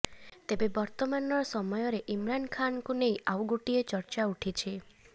ତେବେ ବର୍ତ୍ତମାନର ସମୟରେ ଇମ୍ରାନ୍ ଖାନ୍କୁ ନେଇ ଆଉ ଗୋଟିଏ ଚର୍ଚ୍ଚା ଉଠିଛି